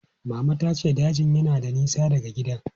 Mama ta ce dajin na da nisa daga gidan.